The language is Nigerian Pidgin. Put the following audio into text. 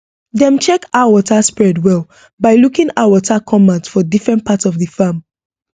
dem check how water spread well by looking how water come out for different part of the farm